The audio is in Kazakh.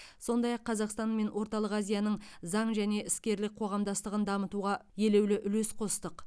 сондай ақ қазақстан мен орталық азияның заң және іскерлік қоғамдастығын дамытуға елеулі үлес қостық